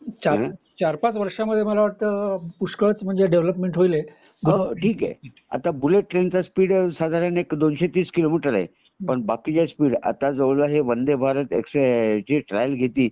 ठिके आता bullet train च स्पीड साधारण दोनशे तीस किलो मीटर आहे पण बाकीच्या स्पीड आता हे वंदे भारत एक्स ह्याची ट्रायल घेतली